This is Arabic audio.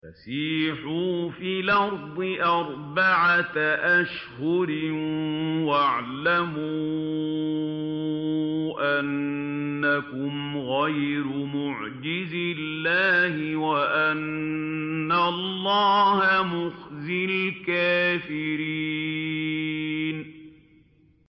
فَسِيحُوا فِي الْأَرْضِ أَرْبَعَةَ أَشْهُرٍ وَاعْلَمُوا أَنَّكُمْ غَيْرُ مُعْجِزِي اللَّهِ ۙ وَأَنَّ اللَّهَ مُخْزِي الْكَافِرِينَ